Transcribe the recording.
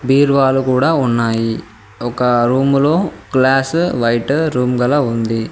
బీరువాలు కూడా ఉన్నాయి ఒక రూమ్ లో గ్లాస్ లైట్ రూమ్ గల ఉంది.